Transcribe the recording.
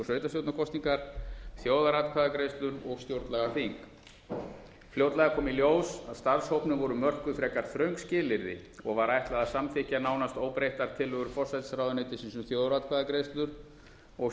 sveitarstjórnarkosningar þjóðaratkvæðagreiðslur og stjórnlagaþing fljótlega kom í ljós að starfshópnum voru mörkuð frekar þröng skilyrði og var ætlað að samþykkja nánast óbreyttar tillögur forsætisráðuneytisins um þjóðaratkvæðagreiðslur og